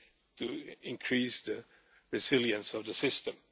to increase the resilience of the system.